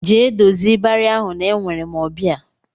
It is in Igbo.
Jee dozie ịbarị ahụ na enwere m ọbịa!